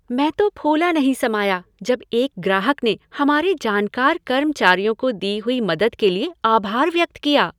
मैं तो फूला नहीं समाया जब एक ग्राहक ने हमारे जानकार कर्मचारियों की दी हुई मदद के लिए आभार व्यक्त किया।